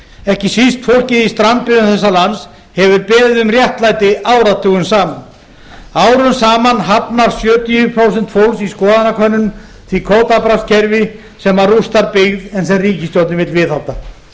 ekki síst fólkið í strandbyggðum þessa lands hefur beðið um réttlæti áratugum saman árum saman hafna sjötíu prósent fólks í skoðanakönnun kvótabraskskerfi sem rústar byggð en sem ríkisstjórnin vill viðhalda